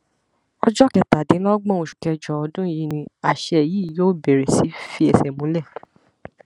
ọjọ kẹtàdínlọgbọn oṣù kẹjọ ọdún yìí ni àṣẹ yìí yóò bẹrẹ sí í fẹsẹ múlẹ